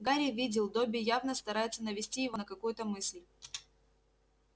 гарри видел добби явно старается навести его на какую-то мысль